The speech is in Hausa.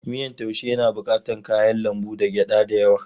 Miyan taaushe yana bukatar kayan lambu da gyada da yawa.